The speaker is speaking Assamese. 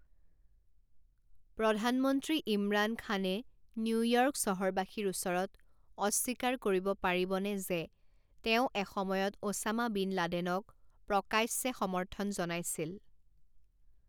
প্ৰধানমন্ত্ৰী ইমৰান খানে নিউয়ৰ্ক চহৰবাসীৰ ওচৰত অস্বীকাৰ কৰিব পাৰিবনে যে তেওঁ এসময়ত অ ছামা বিন লাডেনক প্ৰকাশ্যে সমৰ্থন জনাইছিল?